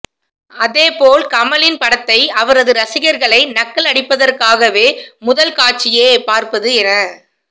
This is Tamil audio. அதேபோல் கமலின் படத்தை அவரது ரசிகர்களை நக்கலடிப்பதற்பதற்காகவே முதல்க்காட்சியே பார்ப்பது என